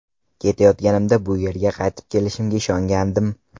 Ketayotganimda bu yerga qaytib kelishimga ishongandim.